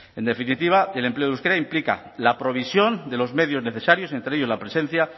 en definitiva el empleo del euskera implica la provisión de los medios necesarios entre ellos la presencia